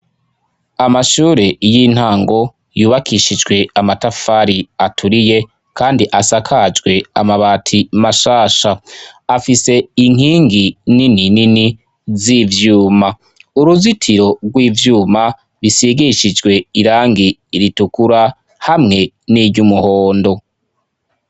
Amashure y'intango yubakishijwe amatafari aturiye kandi asakajwe amabati mashasha, afise inkingi nini nini z'ivyuma, uruzitiro rw'ivyuma bisigishijwe irangi ritukura hamwe n'iryumuhondo.